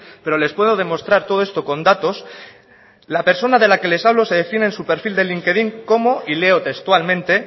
pero les puedo demostrar todo esto con datos la persona de la que les hablo se define en su perfil de likedin como y leo textualmente